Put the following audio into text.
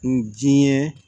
N diɲɛ